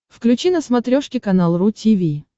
включи на смотрешке канал ру ти ви